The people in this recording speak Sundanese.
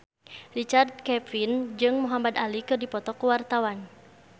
Richard Kevin jeung Muhamad Ali keur dipoto ku wartawan